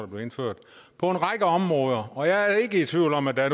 blev indført på en række områder og jeg er ikke i tvivl om at der